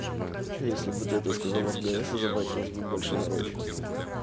если бы ты это сказала в гс забастилось бы больше народу